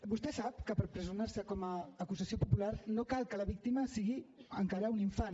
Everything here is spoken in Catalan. vostè sap que per personar se com a acusació popular no cal que la víctima sigui encara un infant